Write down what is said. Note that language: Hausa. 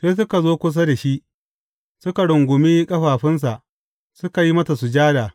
Sai suka zo kusa da shi, suka rungumi ƙafafunsa, suka yi masa sujada.